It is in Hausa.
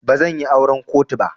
Bazan yi auran kotu ba.